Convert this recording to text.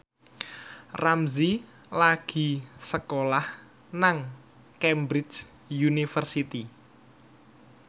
Ramzy lagi sekolah nang Cambridge University